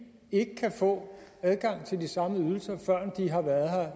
ikke kan få adgang til de samme ydelser før de har været